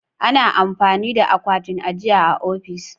Ana amfani da akwatin ajiya a ofis.